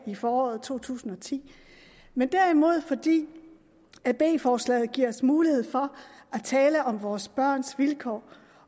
i foråret to tusind og ti men derimod fordi b forslaget giver os mulighed for at tale om vores børns vilkår